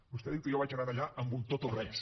vostè diu que jo vaig anar allà amb un tot o res